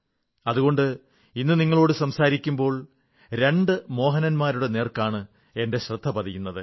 അതുകൊണ്ട് ഇന്ന് നിങ്ങളോടു സംസാരിക്കുമ്പോൾ രണ്ടു മോഹനൻമാരുടെ നേർക്കാണ് എന്റെ ശ്രദ്ധ പതിയുന്നത്